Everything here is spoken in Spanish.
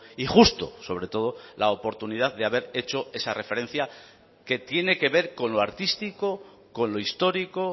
y justo sobre todo la oportunidad de haber hecho esa referencia que tiene que ver con lo artístico con lo histórico